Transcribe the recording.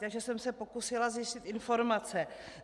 Takže jsem se pokusila zjistit informace.